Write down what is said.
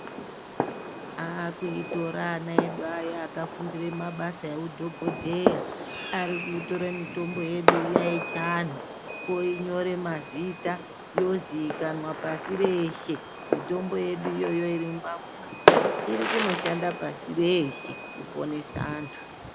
Akuitora ana edu aya akafundire mabasa eudhokodheya arikuitore mitombo yedu iya yechiantu oinyore mazita yozikanwa pashi reshe, mitombo yedu iyoyo irimumamuzi irikunoshanda pashi reshe kuponesa antu.